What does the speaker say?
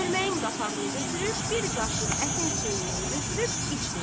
Çölməyin qapağını götürüb bir qaşıq ətin suyundan götürüb içdi.